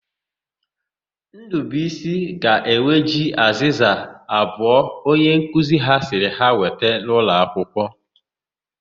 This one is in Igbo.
Ndụbuisi ga-eweje azịza abụọ onyenkuzi ya sịrị ha weta n'ụlọakwụkwọ.